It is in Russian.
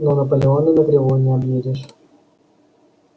но наполеона на кривой не объедешь